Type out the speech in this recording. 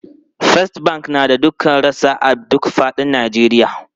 First Bank na da rassa a duk fadin Najeriya.